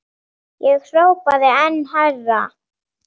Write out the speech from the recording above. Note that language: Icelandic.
Ég hrópaði enn hærra.